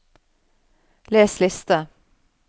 les liste